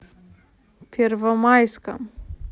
первомайском